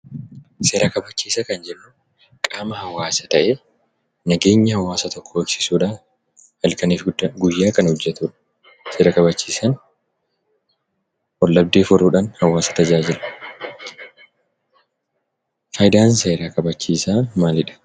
Seera kabachiisaa kan jennu qaama hawaasaa ta'ee, nageenya hawaasa tokkoo eegsisuudhaan halkanii fi guyyaa kan hojjetudha. Seera kabachiisaan wal dhabdee furuudhaan hawaasa tajaajila. Faayidaan seera kabachiisaa maalidha?